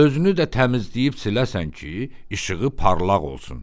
Özünü də təmizləyib siləsən ki, işığı parlaq olsun."